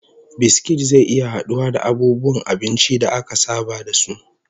Biskit zai iya haduwa da abubuwan abinci da aka saba da su